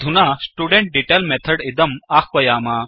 अधुना student detail method इदं आह्वयाम